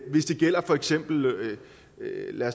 for eksempel